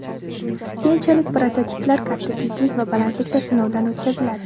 Keyinchalik prototiplar katta tezlik va balandlikda sinovdan o‘tkaziladi.